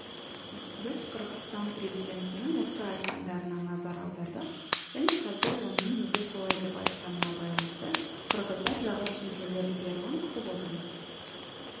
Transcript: біз қырғызстан президентінің осы айтқандарына назар аудардық және қазір оның неге солай деп айтқанына байланысты қырғыздар жағы түсіндірулер беруін күтіп отырмыз